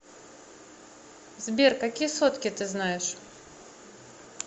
сбер какие сотки ты знаешь